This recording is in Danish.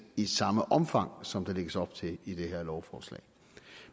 i samme omfang som der lægges op til i det her lovforslag